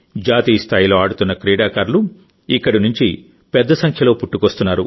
జాతీయ స్థాయిలో ఆడుతున్న క్రీడాకారులు ఇక్కడి నుంచి పెద్ద సంఖ్యలో పుట్టుకొస్తున్నారు